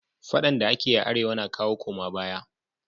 faɗan da akeyi a arewa na kawo koma baya